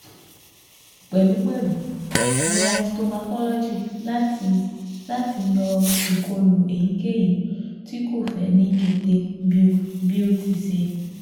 Pẹlupẹlu, gba histopathology lati lati yọ ikolu eyikeyi ti ko fẹ ni kete bi o ti ṣee